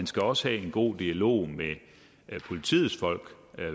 skal også være en god dialog med politiets folk